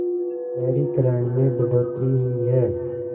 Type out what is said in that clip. शहरीकरण में बढ़ोतरी हुई है